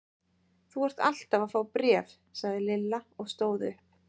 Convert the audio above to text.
Þú ert alltaf að fá bréf sagði Lilla og stóð upp.